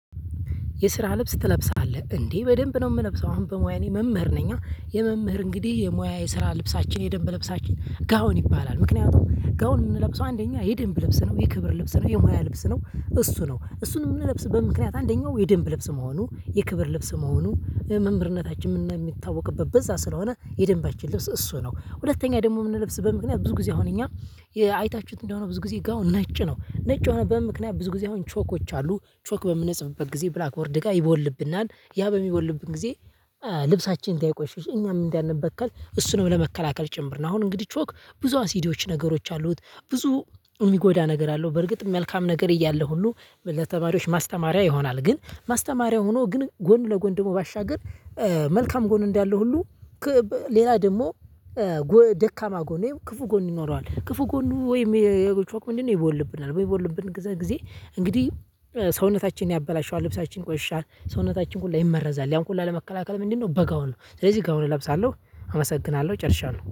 የስራ ልብስ ትለብሳለህ እንዴ በደንብ ነው? የምለብሰው አሁን በሙያዬ መምህር ነኛ የመምህር እንግዲህ የሙያ የስራ ልብሳችን የደንብ ልብሳችን ጋውን ይባላል። ምክንያቱም ጋውን የምንለብሰው አንደኛ የድንብ ልብስ ነው የክብር ልብስ ነው የሙያ ልብስ ነው። እሱ ነው እሱን የምንለብስ በምክንያት አንደኛው የደንብ ልብስ መሆኑ የክብር ልብስ መሆኑ መምህርነታችን የሚታወቅበት በዛ ስለሆነ የደንባችን ልብስ እሱ ነው። ሁለተኛ ደግሞ የምንለብስ በምክንያት ብዙ ጊዜ አሁን እኛ አይታችሁት እንደሆነ ብዙ ጊዜ ጋው ነጭ ነው። ነጭ ሆኖ በምን ምክንያት ብዙ ጊዜ አሁን ቾኮች አሉ። ቾክ በምንጽፍበት ጊዜ ብላክ ወርድ ጋር ይቦልብናል ያ በሚቦልብን ጊዜ። ልብሳችን እንዳይቆሸሽ እኛም እንዳንበከል እሱንም ለመከላከል ጭምር ነው። አሁን እንግዲህ ቾክ ብዙ አሲዲዎች ነገሮች አሉት። ብዙ የሚጎዳ ነገር አለው። በርግጥ መልካም ነገር እያለ ሁሉ ለተማሪዎች ማስተማሪያ ይሆናል። ግን ማስተማሪያ ሆኖ ግን ጎን ለጎን ደግሞ ባሻገር። መልካም ጎን እንዳለው ሁሉ። ሌላ ደግሞ ደካማ ጎኔው ክፉ ጎን ይኖረዋል። ክፉ ጎን ወይም የቾኩ ሞንድን ይቦልብናል በሚቦልብን ጊዜ ጊዜ። እንግዲህ ሰውነታችንን ያበላሸዋል ልብሳችንን ይቆሽሻል ሰውነታችን ሁላ ይመረዛል። ያን ሁላ ለመከላከል ምንድነው በጋውን ነው? ስለዚህ ጋውን እለብሳለሁ። አመሰግናለሁ ጨርሻለሁ